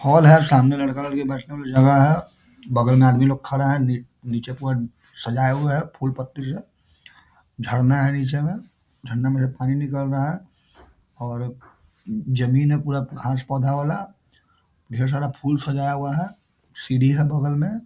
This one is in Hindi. हॉल है और सामने लड़का-लड़की बैठने वाला जगह है बगल में आदमी लोग खड़ा है नी नीचे पूरा सजाए हुए हैं फूल पत्ती से झरना है नीचे में झरना में से पानी निकल रहा है और जमीन है पूरा घास पौधा वाला ढेर सारा फूल सजाया हुआ है सीढ़ी है बगल में।